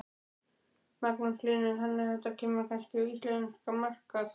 Magnús Hlynur: Þannig að þetta kemur kannski á íslenskan markað?